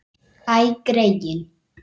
Æ, greyin.